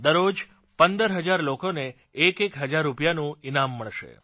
દરરોજ પંદર હજાર લોકોનેએકએક હજાર રૂપિયાનું ઇનામ મળશે